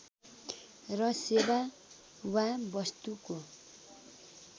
र सेवा वा वस्तुको